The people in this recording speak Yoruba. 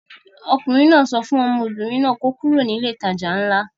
Ọkùnrin náà sọ fún ọmọbìnrin náà kí ó kúrò ní ilé-ìtajà ńlá.